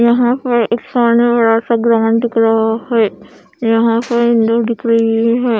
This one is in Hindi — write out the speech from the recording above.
यहां पर एक सामने बड़ा सा ग्राउंड दिख रहा है यहां पर दिख रही है।